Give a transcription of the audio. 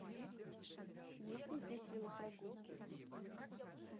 есть ли здесь велопрогулки